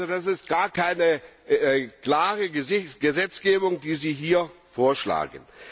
Also das ist gar keine klare Gesetzgebung, die Sie hier vorschlagen.